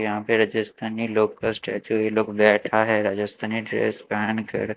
यहां पे रजस्थानी लोग का स्टैचू ये लोग बैठा है राजस्थानी ड्रेस पहन कर--